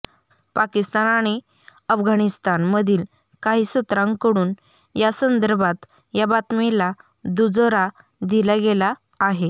पाकिस्तान आणि अफगाणिस्थान मधील काही सूत्रांकडून या संदर्भात या बातमीला दुजोरा दिला गेला आहे